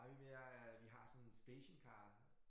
Ej vi men jeg øh vi har sådan en stationcar